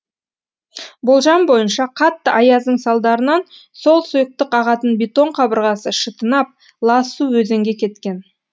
болжам бойынша қатты аяздың салдарынан сол сұйықтық ағатын бетон қабырғасы шытынап лас су өзенге кеткен